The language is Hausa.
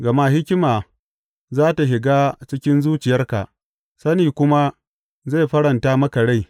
Gama hikima za tă shiga cikin zuciyarka, sani kuma zai faranta maka rai.